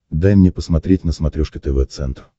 дай мне посмотреть на смотрешке тв центр